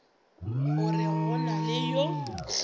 gore go na le yo